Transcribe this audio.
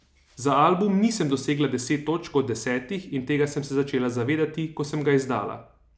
Za album nisem dosegla deset točk od desetih in tega sem se začela zavedati, ko sem ga izdala.